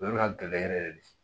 O yɔrɔ ka gɛlɛn yɛrɛ yɛrɛ de